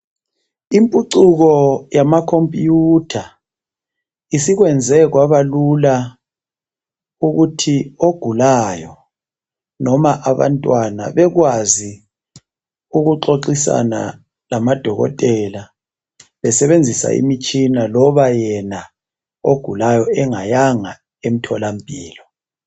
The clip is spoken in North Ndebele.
imphucuko yama computer isikwenze kwabalula ukuthi ogulayo noma abantwana bekwazi ukuxoxisana lamadokotela besebenzisa imitshina loba yena ogulayo engayanga emtholampilo